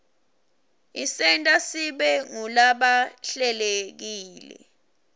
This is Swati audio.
isenta sibe ngulabahlelekile